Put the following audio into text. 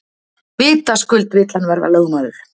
Vitaskuld vill hann verða lögmaður.